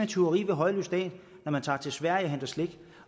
tyveri ved højlys dag når man tager til sverige og henter slik